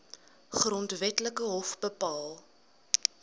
grondwetlike hof bepaal